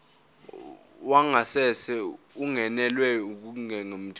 wangasese ungenelwe ngokungemthetho